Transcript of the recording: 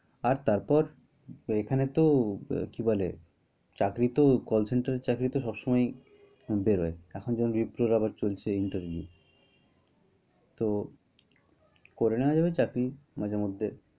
আর তারপর, এখানেতো কি বলে, চাকরি তো call center এর চাকরি তো সবসময়ই বের হয়। এখন যেমন আবার বিলপুর আবার চলছে interview । তো করে নেয়া যাবে চাকরি, মাঝে মধ্যে।